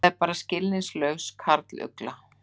Þetta var bara skilningslaus karlugla.